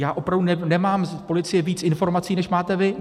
Já opravdu nemám od policie víc informací než máte vy.